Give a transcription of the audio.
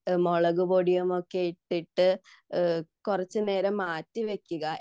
മുളക് പൊടിയൊക്കെ ഇട്ടിട്ട് കുറച്ചു നേരം മാറ്റിവെക്കുക